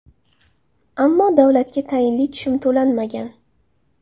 Ammo davlatga tayinli tushum to‘lanmagan.